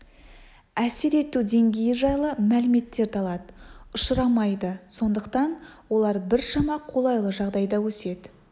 әсер ету деңгейі жайлы мәліметтерді алады ұшырамайды сондықтан олар біршама қолайлы жағдайда өседі